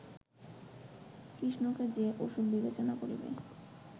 কৃষ্ণকে যে অসূর বিবেচনা করিবে